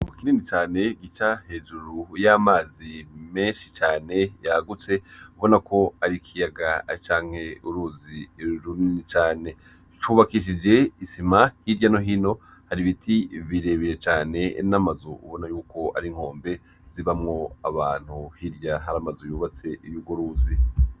Mu kinini cane gica hejuru y'amazi menshi cane yagutse ubona ko arikiyaga acanke uruzi irruni cane cubakishije isima hirya no hino hari ibiti birebire cane enamazu ubona yuko ari nkombe zibamwo abantu hirya hari amaze yubatse iwo uguruzi.